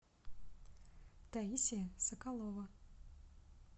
таисия соколова